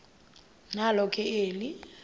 nalo ke eli